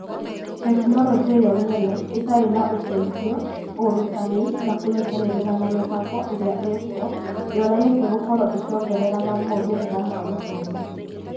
Tekinoronjĩ yo nyene ĩtarĩ na ũteithio, ũrutani, na kũnyitanĩra na mĩbango ĩrĩa ĩĩ kuo ndĩonanĩtie gũkorwo ĩkĩongereraga moimĩrĩra ma gũthoma.